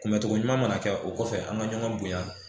Kunbɛcogo ɲuman mana kɛ o kɔfɛ an ka ɲɔgɔn bonya